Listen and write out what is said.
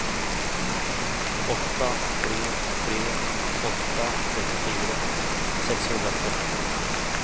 åtta tre tre åtta trettiofyra sexhundratretton